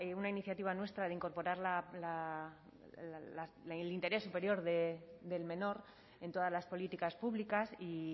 una iniciativa nuestra de incorporar el interés superior del menor en todas las políticas públicas y